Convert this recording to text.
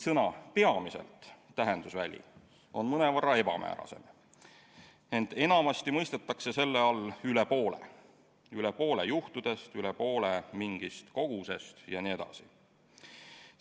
Sõna "peamiselt" tähendusväli on mõnevõrra ebamäärasem, ent enamasti mõistetakse selle all "üle poole": üle poole juhtudest, üle poole mingist kogusest ja nii edasi.